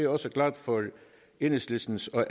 også glad for enhedslistens og